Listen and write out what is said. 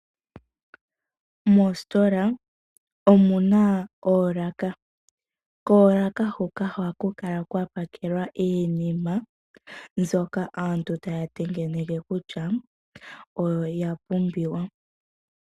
Moositola omuna oolaka. Koolaka huka ohaku kala kwa pakelwa mbyoka aantu taya tengeneke kutya, oyo ya pumbiwa.